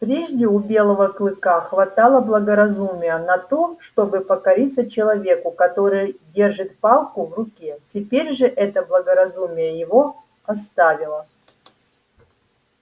прежде у белого клыка хватало благоразумия на то чтобы покориться человеку который держит палку в руке теперь же это благоразумие его оставило